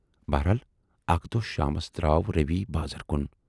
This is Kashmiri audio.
بہرحال اَکہِ دۅہ شامس دراو رویؔ بازر کُن۔